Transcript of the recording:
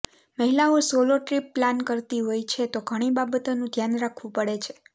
મહિલાઓ solo trip plan કરતી હોય છે તો ઘણી બાબતોનું ધ્યાન રાખવું પડે છે